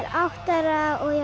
átta ára og